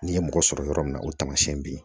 N'i ye mɔgɔ sɔrɔ yɔrɔ min na o tamasiyɛn b'i ye